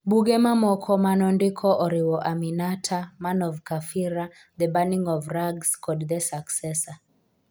Buge mamoko ma nondiko oriwo Aminata, Man of Kafira, The Burning of Rags kod The Successor.